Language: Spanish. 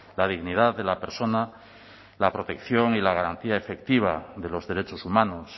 la dignidad de la persona la protección y la garantía efectiva de los derechos humanos